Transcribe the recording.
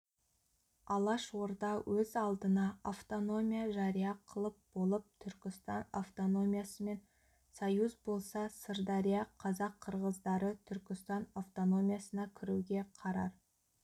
алаш орда өз алдына автономия жария қылып болып түркістан автономиясымен союз болса сырдария қазақ-қырғыздары түркістан автономиясына кіруге қарар